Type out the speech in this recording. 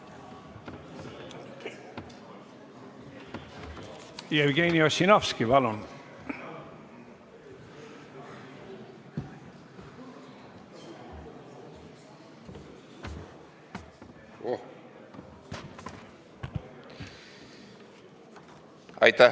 Jevgeni Ossinovski, palun!